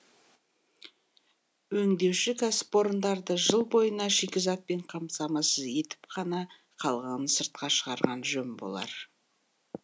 өңдеуші кәсіпорындарды жыл бойына шикізатпен қамтамасыз етіп қана қалғанын сыртқа шығарған жөн болар